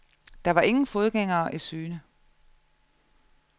Der var ingen fodgængere i syne.